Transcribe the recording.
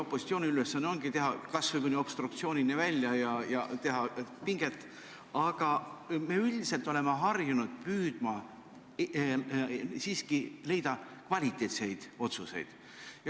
Opositsiooni ülesanne ongi pinget kruvida kas või obstruktsioonini välja, aga me üldiselt oleme harjunud püüdma siiski teha kvaliteetseid otsuseid.